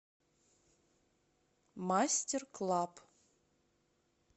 мастерклаб